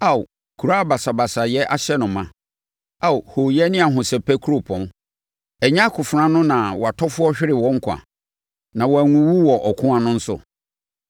Ao Kuro a basabasayɛ ahyɛ no ma, Ao hooyɛ ne ahosɛpɛ kuropɔn? Ɛnyɛ akofena ano na wʼatɔfoɔ hweree wɔn nkwa, na wɔanwuwu wɔ ɔko ano nso?